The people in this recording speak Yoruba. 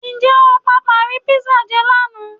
Ǹjẹ́ o pàpà rí písà jẹ lánàá?